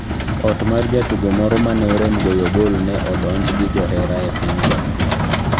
Ot mar jatugo moro mane orem goyo gol ne odonjo gi johera e piny Zambia